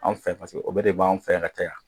Anw fɛ o bɛɛ de b'an fɛ yan ka caya